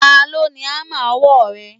Ta ló ni hámà ọwọ́ rẹ?